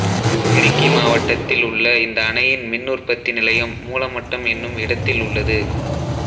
இடுக்கி மாவட்டத்தில் உள்ள இந்த அணையின் மின்னுற்பத்தி நிலையம் மூலமட்டம் என்னும் இடத்தில் உள்ளது